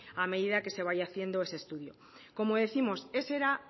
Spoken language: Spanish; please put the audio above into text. a medida que se vaya haciendo ese estudio como décimos ese era